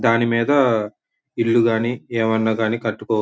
దాని మీద ఇల్లు గాని ఏవన్నా గాని కట్టుకోవ--